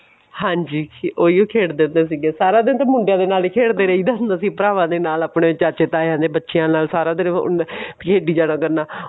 ਹਾਂਜੀ ਉਹੀ ਓ ਖੇਡ ਦੇ ਹੁੰਦੇ ਸੀਗੇ ਸਾਰਾ ਦਿਨ ਤਾਂ ਮੁੰਡਿਆਂ ਦੇ ਨਾਲ ਹੀ ਖੇਡਦੇ ਰਹੀਦਾ ਹੁੰਦਾ ਸੀ ਭਰਾਵਾਂ ਦੇ ਨਾਲ ਆਪਣੇ ਚਾਚੇ ਤਾਈਆਂ ਦੇ ਬੱਚਿਆ ਦੇ ਨਾਲ ਸਾਰਾ ਦਿਨ ਖੇਡੀ ਜਾਇਆ ਕਰਨਾ